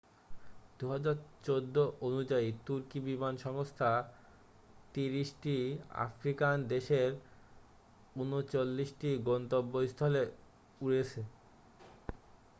2014 অনুযায়ী তুর্কি বিমান সংস্থা 30 টি আফ্রিকান দেশের 39 টি গন্তব্যস্থলে উড়েছে